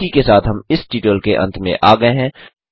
इसी के साथ हम इस ट्यूटोरियल के अंत में आ गये हैं